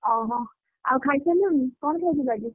ଓହୋ ଆଉ ଖାଇସାରିଲୁଣି କଣ ଖାଇଥିଲୁ ଆଜି?